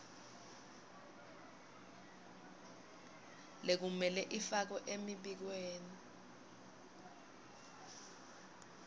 lekumele ifakwe emibikweni